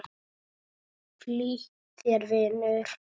Flýt þér, vinur!